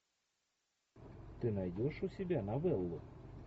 ты найдешь у себя новеллу